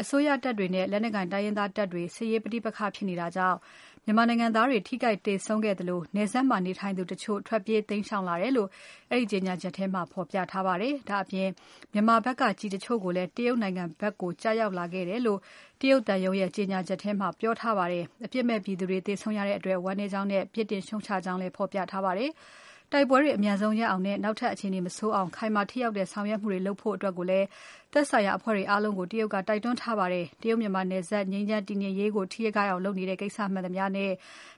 အစိုးရတပ်တွေနဲ့ လက်နက်ကိုင် တိုင်းရင်းသားတပ်တွေ စစ်ရေးပဋိပက္ခဖြစ်နေတာကြောင့် မြန်မာနိုင်ငံသားတွေ ထိခိုက်သေဆုံးခဲ့သလို နယ်စပ်မှာနေထိုင်သူတချို့ ထွက်ပြေးတိမ်းရှောင်လာတယ်လို့ အဲဒီကြေညာချက်မှာ ဖော်ပြထားပါတယ်။ ဒါ့အပြင် မြန်မာဖက်က ကျည်တချို့လည်း တရုတ်နိုင်ငံဖက်ကို ကျရောက်လာတယ်လို့ တရုတ်သံရုံးရဲ့ ကြေညာချက်မှာ ပြောထားပါတယ်။ အပြစ်မဲ့ပြည်သူတွေ သေဆုံးရတဲ့အတွက် ဝမ်းနည်းကြောင်းနဲ့ ပြစ်တင်ရှုံ့ချကြောင်းလည်း ဖော်ပြထားပါတယ်။ တိုက်ပွဲတွေ အမြန်ဆုံးရပ်အောင်နဲ့ နောက်ထပ်အခြေအနေမဆိုးအောင် ခိုင်မာထိရောက်တဲ့ဆောင်ရွက်မှုတွေ လုပ်ကြဖို့လည်း သက်ဆိုင်ရာအဖွဲ့တွေအားလုံးကို တရုတ်က တိုက်တွန်းထားပါတယ်။ တရုတ် မြန်မာနယ်စပ် ငြိမ်းချမ်းတည်ငြိမ်ရေးကို ထိခိုက်အောင်လုပ်နေတဲ့ ကိစ္စမှန်သမျှနဲ့